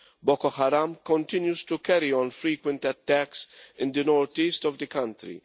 Boko Haram continues to carry out frequent attacks in the northeast of the country.